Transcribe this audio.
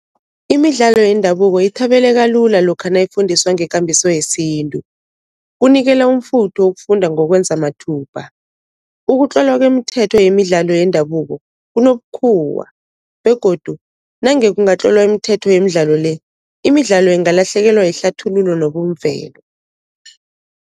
Imidlalo yendabuko ithabeleka lula lokha nayifundiswa ngekambiso yesintu, kunikela umfutho ukufunda ngokwenza mathubha. Ukutlolwa kwemithetho yemidlalo yendabuko kunobukhuwa begodu nange kungatlolwa imithetho yemidlalo le, imidlalo ingalahlekelwa yihlathululo nobumvelo.